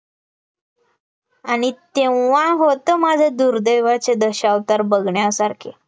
आणि तेव्हां होतं, माझ्या दुर्दैवाचे दशावतार बघण्यासारखे